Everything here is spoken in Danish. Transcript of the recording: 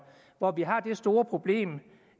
hvor vi har det store problem